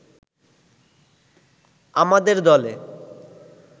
আমাদের দলে